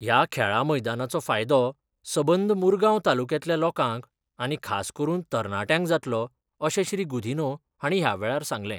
ह्या खेळां मैदानाचो फायदो सबंद मुरगाव तालुक्यातल्या लोकांक आनी खास करून तरणाटयांक जातलो अशें श्री गुदिन्हो हांणी ह्यावेळार सांगले.